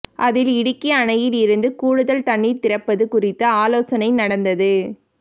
அதில் இடுக்கி அணையிலிருந்து கூடுதல் தண்ணீர் திறப்பது குறித்து ஆலோசனை நடந்தது